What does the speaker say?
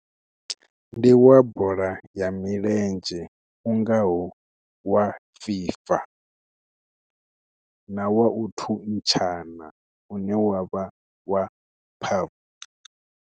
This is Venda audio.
Ndi wa bola ya milenzhe u ngaho wa FIFA na wa u thuntsha kana une wa vha wa .